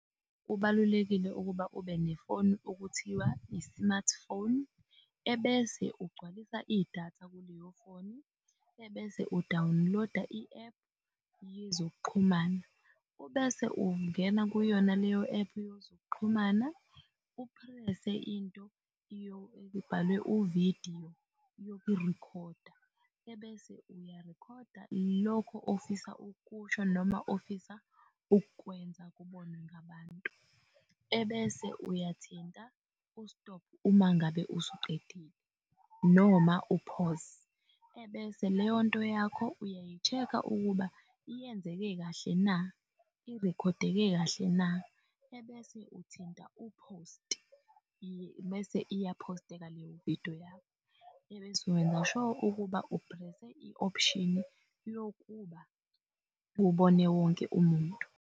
Kubalulekile ukuba ube nefoni okuthiwa i-smartphone. Ebese ugcwalisa i-data kuleyofoni. Ebese u-download-a i-App yezokuxhumana. Ubese ungena kuyona leyo-App yezokuxhumana, uphrese into ebhalwe uvidiyo yokurikhoda, ebese ayarikhoda lokho ofisa ukusho noma ofisa ukwenza kubonwe ngabantu ebese uyathinta u-stop uma ngabe usuqedile noma u-pause, ebese leyonto yakho uyayi-check-a ukuba yenzeke kahle na, irikhodeke kahle na. ebese uthinta u-post, bese iyaphosteka leyo vidiyo yakho, ebese wenza-sure ukuba u phrese, i-option-i yokuba kubone wonke umuntu.